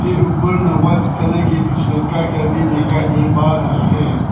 एक ऊपर में व्हाइट कलर की कुछ लटका कर भी दिखाई दे पा रहा है।